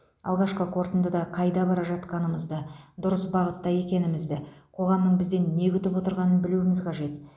алғашқы қорытындыда қайда бара жатқанымызды дұрыс бағытта екенімізді қоғамның бізден не күтіп отырғанын білуіміз қажет